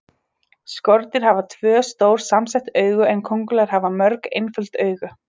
Skordýr hafa tvö, stór samsett augu en kóngulær hafa mörg, einföld augu.